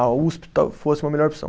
A Usp tal fosse uma melhor opção.